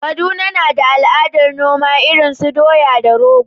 Kaduna na da al’adar noma irin su doya da rogo.